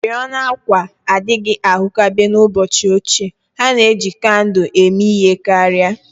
Oriọna àkwà adịghị ahụkebe n'ụbọchị ochie, ha na-eji kandụl eme ihe karị